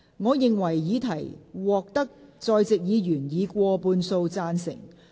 我認為議題獲得在席議員以過半數贊成。